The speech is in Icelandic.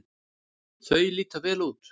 Þau líta vel út.